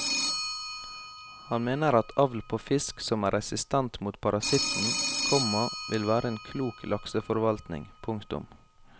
Han mener at avl på fisk som er resistent mot parasitten, komma ville være en klok lakseforvaltning. punktum